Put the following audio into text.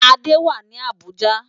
Ade wá ni Abuja